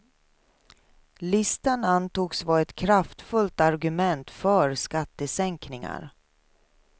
Listan antogs vara ett kraftfullt argument för skattesänkningar.